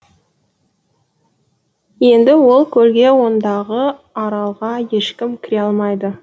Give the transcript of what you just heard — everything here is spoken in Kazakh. енді ол көлге ондағы аралға ешкім кіре алмайды